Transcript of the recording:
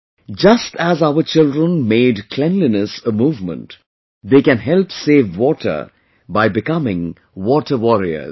Just as our children made cleanliness a movement, they can help save water by becoming a 'Water Warriors'